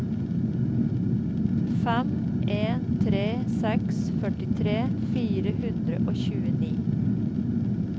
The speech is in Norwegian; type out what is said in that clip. fem en tre seks førtitre fire hundre og tjueni